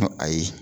Ko ayi